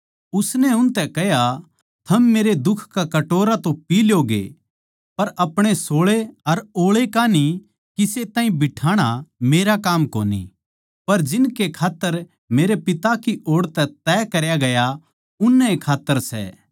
उसनै उनतै कह्या थम मेरे दुख का कटोरा तो पी तो ल्योगे पर अपणे सोळै अर ओळै किसे ताहीं बिठाणा मेरा काम कोनी पर जिनकै खात्तर मेरै पिता की ओड़ तै त्यार करया गया उननैए खात्तर सै